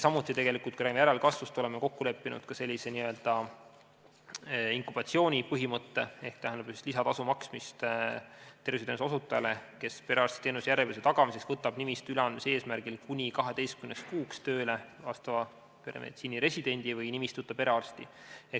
Samuti, kui räägime järelkasvust, siis oleme kokku leppinud ka sellise n-ö inkubatsioonipõhimõtte ehk lisatasu maksmise terviseteenuse osutajale, kes perearstiteenuse järjepidevuse tagamiseks võtab nimistu üleandmise eesmärgil kuni 12 kuuks tööle vastava peremeditsiini residendi või nimistuta perearsti.